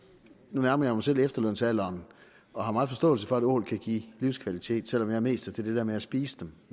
nu nærmer jeg mig selv efterlønsalderen og har meget forståelse for at ål kan give livskvalitet selv om jeg mest er til det der med at spise dem